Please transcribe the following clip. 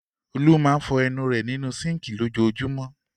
Olú máa fọ ẹnu rẹ̀ nínú síńkì lójoojúmọ́.